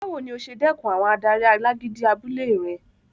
Báwo ni o ṣe dẹkùn àwọn adarí alágídí abúlé rẹ?